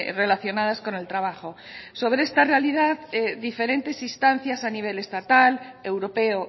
relacionadas con el trabajo sobre esta realidad diferentes instancias a nivel estatal europeo